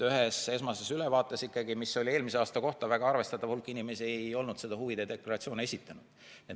Ühest esmasest ülevaatest, mis oli tehtud eelmise aasta kohta, selgus, et väga arvestatav hulk inimesi ei olnud huvide deklaratsiooni esitanud.